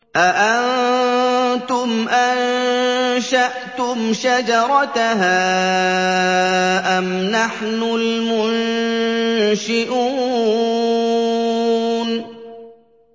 أَأَنتُمْ أَنشَأْتُمْ شَجَرَتَهَا أَمْ نَحْنُ الْمُنشِئُونَ